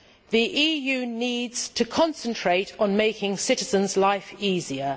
The EU needs to concentrate on making citizens' lives easier.